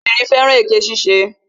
Obìnrin fẹ́ràn èké ṣíṣe